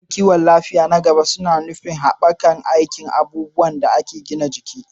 Shirye-shiryen kiwon lafiya na gaba suna nufin haɓaka aikin abubuwan da ake gina jiki